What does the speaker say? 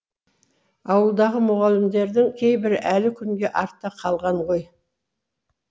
ауылдағы мүғалімдердің кейбірі әлі күнге артта қалған ғой